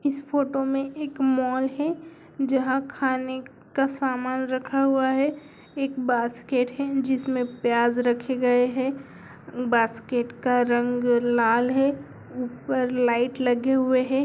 इस फोटो में एक मॉल है जहां खाने का सामान रखा हुआ है| एक बास्केट है जिसमें प्याज रखे गए है टोकरी का रंग लाल है ऊपर लाइट लगी हुई है।